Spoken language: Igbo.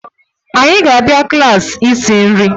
Anyị ga-abịa klaasị isi nri